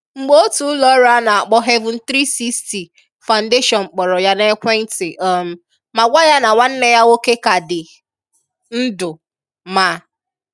Mgbe otu ụlọọrụ a na-akpọ Haven360 Foundation kpọrọ ya n’ekwentị um ma gwà ya na nwanne ya nwoke ka dị ndụ, ma